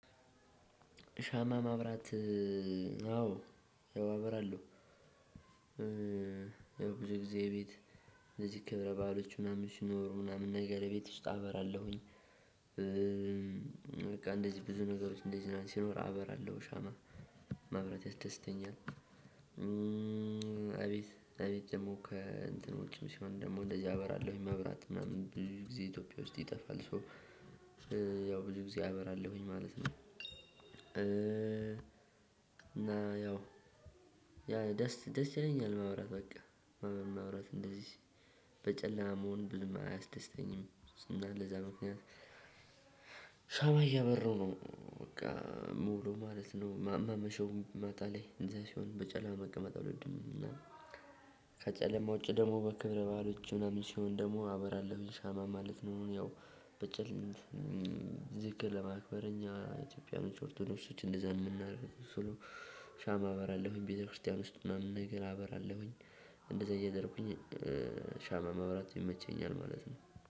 ሻማ ማብራት አዎ አበራለሁ። ብዙ ጊዜ ቤት እንደዚህ ክብረ በዓሎች ምናምን ሲኖሩ ቤት ውስጥ አብራለሁኝ። በቃ እንደዚህ ብዙ ነገሮች እንደዚህ ሲኖር አበራለሁ ሻማ ማብራት ያስደስተኛል። እቤት እቤት ደግሞ ከእንትን ውጭም ሲሆን ደግሞ እንደዚሁ አበራለሁኝ። መብራት ምናምን ብዙ ጊዜ ኢትዮጵያ ውስጥ ይጠፋል ሶ ያው ብዙ ጊዜ አበራለሁኝ ማለት ነው። እና ያው ያ ደስ ደስ ይለኛል። ማብራት በቃ ሻማ ማብራት እንደዚህ በጨለማ መሆን ብዙም አያስደስተኝም ስና ለዛ ምክንያት ሻማ እያበራው ነው በቃ እምዉለው ማለት ነው። ማመሸው ማታ ላይ እንደዚህ ሲሆን በጨለማ መቀመጥ አልወድም። ከጨለማ ውጪ ደግሞ በክብረ በዓሎች ምናምን ሲሆን ደግሞ አበራለሁኝ ሻማ ማለት ነው ያው ዝክር ለማክበር እኛ ኢትዮጵያን ኦርቶዶሽሶች እንደዛ የምናደርገው። ሻም አበራለሁኝ ቤተክርስቲያን ውስጥ ምናምን ነገር አበራለሁኝ። እንደዛ እያደረኩኝ ሻማ ማብራት ይመቸኛል ማለት ነው።